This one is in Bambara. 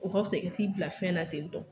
O ka fisa i ka t'i bila fɛn na tentɔ